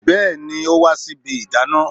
Bẹẹni, ó wá sí ibi ìdáná